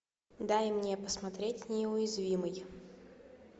дай мне посмотреть неуязвимый